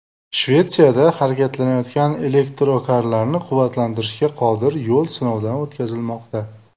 Shvetsiyada harakatlanayotgan elektrokarlarni quvvatlantirishga qodir yo‘l sinovdan o‘tkazilmoqda.